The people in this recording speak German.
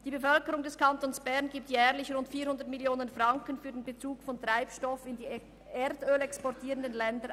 Die Bevölkerung des Kantons Bern gibt jährlich rund 400 Mio. Franken für den Bezug von Treibstoff an die erdölexportierenden Staaten weiter.